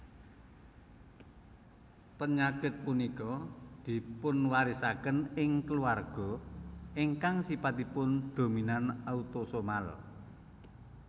Pényakit punika dipunwarisakén ing keluarga ingkang sifatipun dominan autosomal